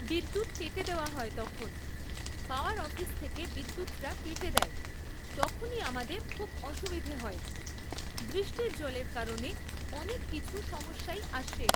বিদ্যুৎ কেটে দেওয়া হয় তখন। পাওয়ার অফিস থেকে বিদ্যুৎটা কেটে দেয় তখনই আমাদের খুব অসুবিধে হয়, বৃষ্টির জলের কারণে অনেক কিছু সমস্যাই আসে